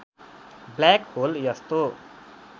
black hole यस्तो